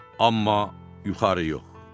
Amma yuxarı yox.